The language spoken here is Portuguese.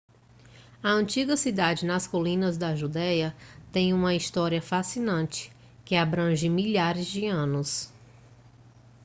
a antiga cidade nas colinas da judéia tem uma história fascinante que abrange milhares de anos